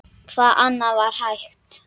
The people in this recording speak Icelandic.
Hvað annað var hægt?